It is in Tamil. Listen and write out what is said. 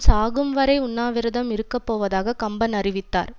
சாகும்வரை உண்ணாவிரதம் இருக்க போவதாக கம்பன் அறிவித்தார்